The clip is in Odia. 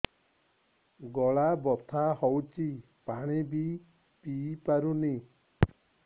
ଗଳା ବଥା ହଉଚି ପାଣି ବି ପିଇ ପାରୁନି